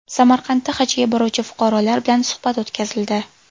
Samarqandda hajga boruvchi fuqarolar bilan suhbat o‘tkazildi.